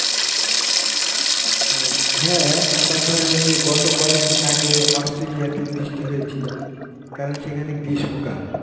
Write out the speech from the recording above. হ্যাঁ, আবার ধরেন যে গত কয়েকদিন আগে Astralia তে বৃষ্টি হয়েছিল, কারণ সেখানে গ্রীষ্মকাল.